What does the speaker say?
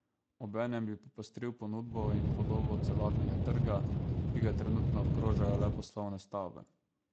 Obenem bi popestril ponudbo in podobo celotnega trga, ki ga trenutno obkrožajo le poslovne stavbe.